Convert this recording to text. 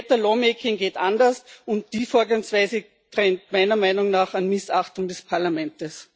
Better lawmaking geht anders, und die Vorgangsweise grenzt meiner Meinung nach an Missachtung des Parlaments.